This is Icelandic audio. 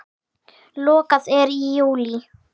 Lokað er í júlí.